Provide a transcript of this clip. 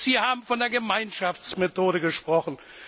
Sie haben von der Gemeinschaftsmethode gesprochen.